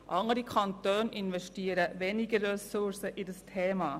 Andere Kantone investieren weniger Ressourcen in dieses Thema.